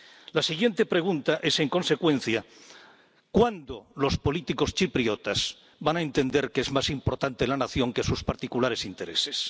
La siguiente pregunta es, en consecuencia ¿cuándo los políticos chipriotas van a entender que es más importante la nación que sus particulares intereses?